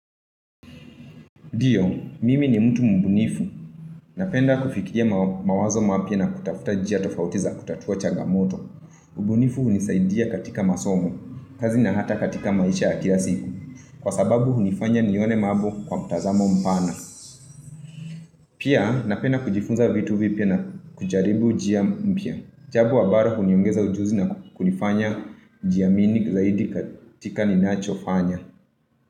Dio, mimi ni mtu mbunifu. Napenda kufikia mawazo mapya na kutafuta njia tofauti za kutatua changamoto. Mbunifu hunisaidia katika masomo, kazi na hata katika maisha ya kila siku. Kwa sababu, hunifanya nione mambo kwa mtazamo mpana. Pia, napenda kujifunza vitu vipya na kujaribu njia mpya. Jabu wa bara, huniongeza ujuzi na kunifanya jiamini zaidi katika ni nacho fanya.